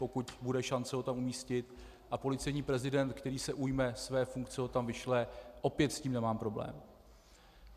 Pokud bude šance ho tam umístit a policejní prezident, který se ujme své funkce, ho tam vyšle, opět s tím nemám problém.